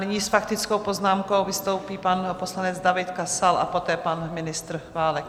Nyní s faktickou poznámkou vystoupí pan poslanec David Kasal a poté pan ministr Válek.